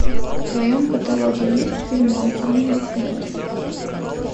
в твоем каталоге есть фильм мой ангел хранитель